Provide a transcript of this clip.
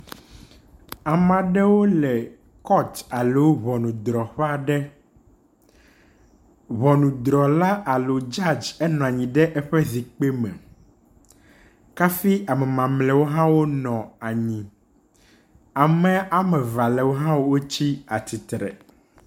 Ame aɖewo le court alo ŋunudrɔƒe aɖe, ŋɔnudrɔla alo judge enɔ anyi ɖe eƒe zikpui me kafi amamamleawo nɔ anyi. Ame ame eve ha lewo tsi atsitre.